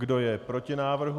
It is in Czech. Kdo je proti návrhu?